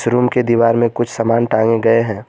Room के दीवार में कुछ सामान टांगे गए हैं।